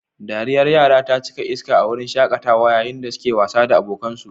Dariyar yara ta cika iska a wurin shaƙatawa yayin da suke wasa da abokansu